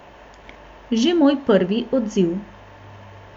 Že moj prvi odziv.